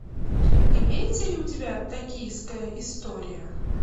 имеется ли у тебя токийская история